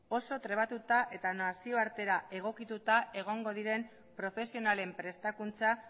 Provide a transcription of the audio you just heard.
oso trebatuta eta nazioartera egokituta egongo diren profesionalen prestakuntza